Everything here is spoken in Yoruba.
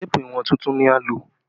Téèpù ìwọ̀n tuntun ni a lò